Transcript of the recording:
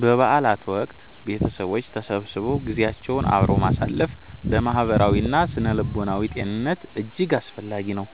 በበዓላት ወቅት ቤተሰቦች ተሰብስበው ጊዜያቸውን አብረው ማሳለፍ ለማህበራዊና ስነ-ልቦናዊ ጤንነት እጅግ አስፈላጊ ነው።